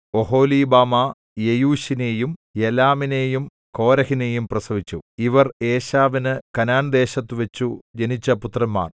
ഒഹൊലീബാമാ യെയൂശിനെയും യലാമിനെയും കോരഹിനെയും പ്രസവിച്ചു ഇവർ ഏശാവിനു കനാൻദേശത്തുവച്ചു ജനിച്ച പുത്രന്മാർ